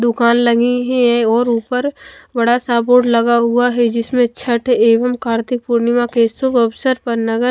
दूकान लगी है और ऊपर बड़ा सा बोर्ड लगा हुआ है जिसमे छठ एवं कार्तिक पूर्णिमा के शुब अवसर पर नगर --